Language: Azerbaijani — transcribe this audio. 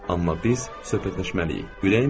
Amma biz söhbətləşməliyik.